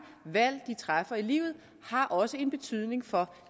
valg de træffer i livet har også en betydning for